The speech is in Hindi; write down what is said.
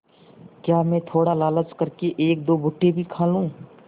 क्या मैं थोड़ा लालच कर के एकदो भुट्टे भी खा लूँ